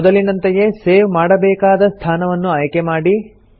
ಮೊದಲಿನಂತೆಯೇ ಸೇವ್ ಮಾಡಬೇಕಾದ ಸ್ಥಾನವನ್ನು ಆಯ್ಕೆ ಮಾಡಿ